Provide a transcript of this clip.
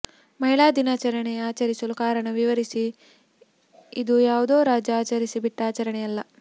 ಮಹಿಳಾ ದಿನಾಚರಣೆ ಆಚರಿಸಲು ಕಾರಣ ವಿವರಿಸಿ ಇದು ಯಾವುದೋ ರಾಜ ಆಚರಿಸಿ ಬಿಟ್ಟ ಆಚರಣೆಯಲ್ಲ